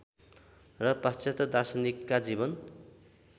र पाश्चात्य दार्शनिकका जीवन